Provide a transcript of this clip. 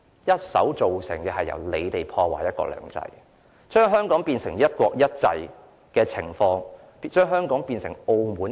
建制派議員一手破壞"一國兩制"，把香港變成"一國一制"，變成今天的澳門。